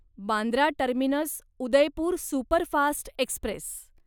Bandra terminus Udaipur superfast Express